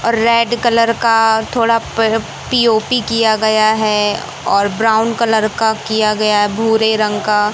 और red colour का थोड़ा पि_ओ_पी किया गया है और ब्राउन कलर का किया गया है भूरे रंग का--